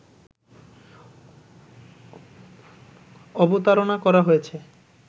অবতারণা করা হয়েছে